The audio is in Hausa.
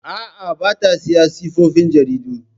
Aa, bata siyan tsofaffin jaridu